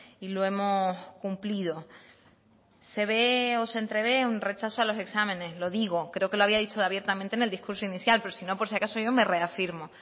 y lo hemos cumplido se ve o se entrevé un rechazo a los exámenes lo digo creo que lo había dicho abiertamente en el discurso inicial pero si no por si acaso yo me reafirmo